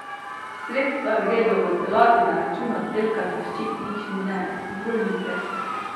Sredstva gredo v celoti na račun oddelka za ščitnične bolnike.